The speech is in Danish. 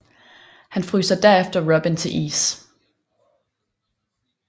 Han fryser derefter Robin til is